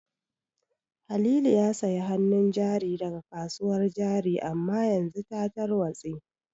Halilu ya sayi hanun jari daga kasuwar jari amma yanzu ta tarwatse